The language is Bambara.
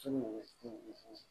Sugu bɛ